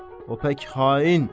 O pək xain.